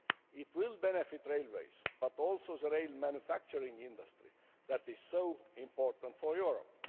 It will benefit railways, but also the rail manufacturing industry that is so important for Europe.